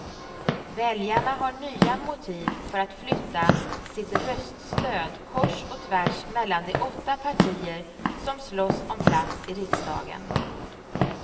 Väljarna har nya motiv för att flytta sitt röststöd kors och tvärs mellan de åtta partier som slåss om plats i riksdagen.